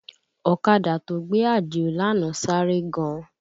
Ọ̀kadà tó gbé Àdìó lánàá sáré gan